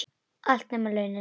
Allt, nema launin.